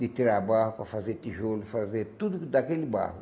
De tirar barro para fazer tijolo, fazer tudo do daquele barro.